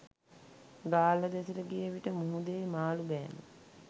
ගාල්ල දෙසට ගිය විට මුහුදෙහි මාළු බෑම